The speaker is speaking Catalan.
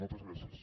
moltes gràcies